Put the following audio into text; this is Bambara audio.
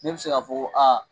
Ne bi se k'a fɔ ko .